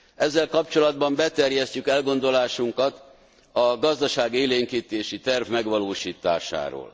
Ezzel kapcsolatban beterjesztjük elgondolásunkat a gazdaságélénkítési terv megvalósításáról.